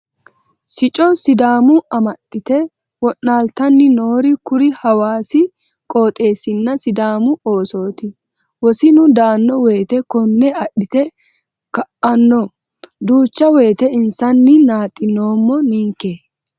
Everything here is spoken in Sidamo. Sicco sidaamu amaxite wa'lolittanni noori kuri hawaasi qooxeesinna sidaamu oosoti wosinnu daano woyte kone adhite ka'ano duucha woyte insanni naaxinoommo ninke.